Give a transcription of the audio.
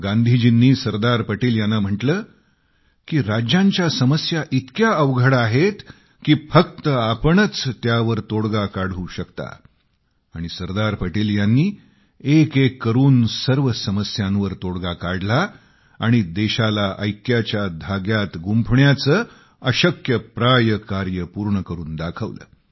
गांधीजींनी सरदार पटेल यांना म्हटले की राज्यांच्या समस्या इतक्या अवघड आहेत की फक्त आपणच त्यावर तोडगा काढू शकता आणि सरदार पटेल यांनी एक एक करून सर्व समस्यांवर तोडगा काढला आणि देशाला ऐक्याच्या धाग्यात गुंफण्याचं अशक्यप्राय कार्य पूर्ण करून दाखवलं